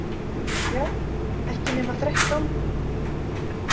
Já, ekki nema þrettán.